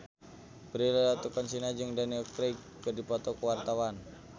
Prilly Latuconsina jeung Daniel Craig keur dipoto ku wartawan